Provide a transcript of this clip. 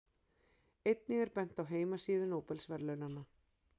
Einnig er bent á heimasíðu Nóbelsverðlaunanna.